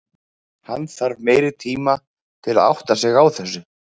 Hann þarf meiri tima til að átta sig á þessu.